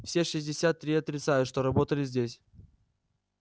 все шестьдесят три отрицают что работали здесь